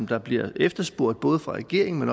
der bliver efterspurgt både fra regeringen men